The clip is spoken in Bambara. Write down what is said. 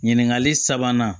Ɲininkali sabanan